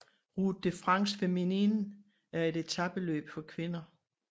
Route de France Féminine er et etapeløb for kvinder